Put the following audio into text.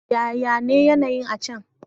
Yaya ne yanayi'n a' can?